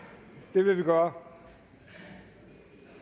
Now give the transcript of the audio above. det vil vi gøre